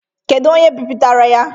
Kedụ onye bipụtara ya?